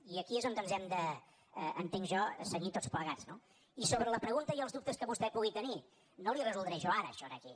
i aquí és on ens hem de entenc jo cenyir tots plegats no i sobre la pregunta i els dubtes que vostè pugui tenir no li ho resoldré jo ara això aquí